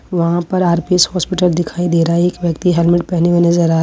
वहां पे RPS hospital दिखाई दे रहा है एक व्यक्ति हेलमेट पहने हुए नजर आ --